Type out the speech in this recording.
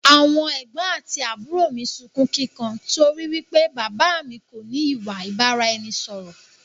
Àwọn ẹ̀gbọ̀n àti àbúrò mi sunkún kíkan torí wípé bàbà á mi kò ní ìwà ìbáraẹnisọọ̀rọ̀